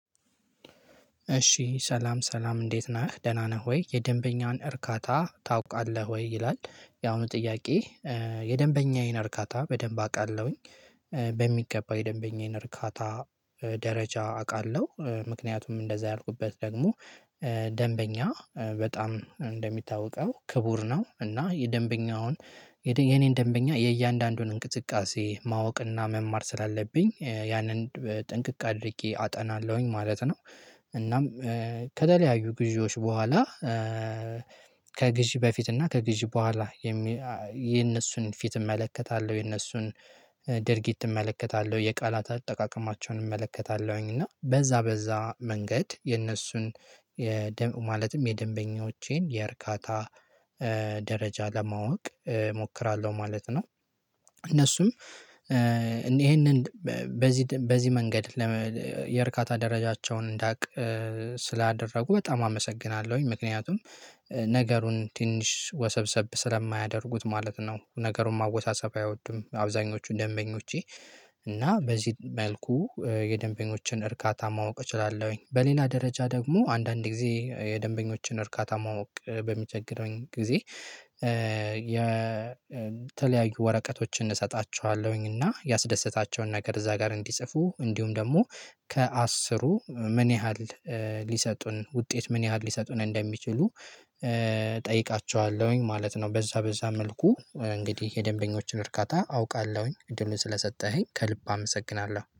እሺ ሰላም ሰላም እንዴት ነህ ደህና ነህ ወይ የደንበኛን እርካታ ታውቃለህ ወይ? ይላል ያሁኑ ጥያቄ የደንበኛዬን እርካታ በደንብ አውቃለሁኝ በሚገባው የደንበኛዬን እርካታ ደረጃ አውቃለሁ ምክንያቱም እንደዛ ያልኩበት ደግሞ ደንበኛ በጣም እንደሚታወቀው ክቡር ነው እና የደንበኛውን የኔን ደንበኛ የእያንዳንዱን እንቅስቃሴ ማወቅና መማር ስላለብኝ ያንን ጥንቅቅ አድርጌ አጠናለሁኝ ማለት ነው እናም ከደለያዩ ግዢዎች በኋላ ከግዢ በፊት እና ከግዢ በኋላ የነሱን ፊት እመለከታለሁ የነሱን ድርጊት እመለከታለሁ የቃላት አጠቃቀማቸውን እመለከታለሁኝ እና በዛ በዛ መንገድ የእነሱን የደ ማለትም የደንበኞቼን የእርካታ ደረጃ ለማወቅ እሞክራለሁ ማለት ነው። እነሱም ይሄንን በዚህ በዚህ መንገድ ለመ የእርካታ ደረጃቸውን እንዳውቅ ስላደረጉ በጣም አመሰግናለሁኝ ምክንያቱም ነገሩን ትንሽ ወሰብሰብ ስለማያደርጉት ማለት ነው ነገሩን ማወሳሰብ አይወዱም አብዛኞቹ ደንበኞቼ እና በዚህ መልኩ የደንበኞችን እርካታ ማወቅ እችላለሁኝ በሌላ ደረጃ ደግሞ አንዳንድ ጊዜ የደንበኞችን እርካታ ማወቅ በሚቸግረኝ ጊዜ የተለያዩ ወረቀቶችን እሰጣችኋለሁኝ እና ያስደሰታቸውን ነገር እዛ ጋር እንዲጽፉ እንዲሁም ደግሞ ከአስሩ ምን ያህል ሊሰጡን ውጤት ምን ያህል ሊሰጡን እንደሚችሉ እጠይቃችኋለሁኝ ማለት ነው በዛ በዛ መልኩ እንግዲህ የደንበኞችን እርካታ አውቃለሁኝ እድሉን ስለሰጠኸኝ ከልብ አመሰግናለሁ።